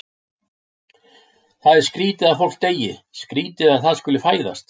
Það er skrýtið að fólk deyi, skrýtið að það skuli fæðast.